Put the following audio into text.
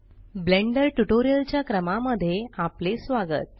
blender tutorial च्या क्रमा मध्ये आपले स्वागत